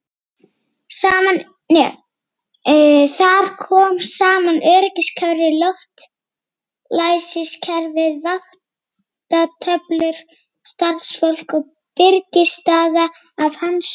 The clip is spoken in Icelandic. Þarna er það!